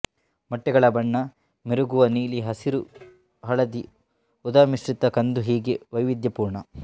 ಮೊಟ್ಟೆಗಳ ಬಣ್ಣ ಮಿರುಗುವ ನೀಲಿ ಹಸಿರು ಹಳದಿ ಊದಾಮಿಶ್ರತ ಕಂದು ಹೀಗೆ ವೈವಿಧ್ಯಪೂರ್ಣ